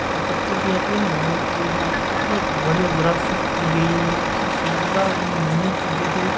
जो पत्थर की आती है ना वो और यहाँ पे कितनी बढ़िया ग्राफ़िक की गई यहाँ से शानदार एंड यूनीक चीजे है।